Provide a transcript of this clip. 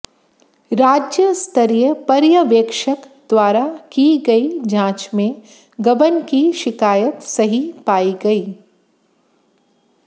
राज्य स्तरीय पर्यवेक्षक द्वारा की गई जांच में गबन की शिकायत सही पायी गई